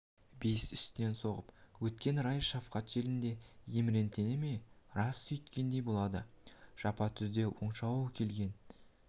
бейіс үстінен соғып өткен райыс шафқат желіндей еміренте ме рас сүйткендей болады жапан түзде оқшау келген